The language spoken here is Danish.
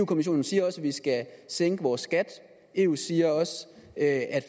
kommissionen siger også at vi skal sænke vores skat eu siger også at